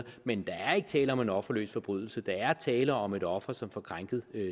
men der er ikke tale om en offerløs forbrydelse der er tale om et offer som får krænket